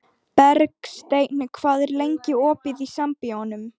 Bergsteinn, hvað er opið lengi í Sambíóunum?